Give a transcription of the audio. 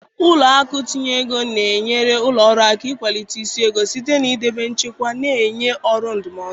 Ụlọ akụ itinye ego na-enyere ụlọ ọrụ aka n'ịkwalite isi ego site na idebe nchekwa na ịnye ọrụ ndụmọdụ.